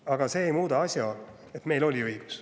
Aga see ei muuda asjaolu, et meil oli õigus.